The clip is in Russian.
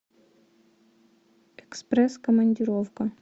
экспресс командировка